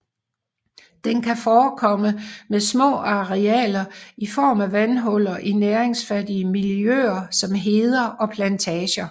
Den kan forekomme med små arealer i form af vandhuller i næringsfattige miljøer som heder og plantager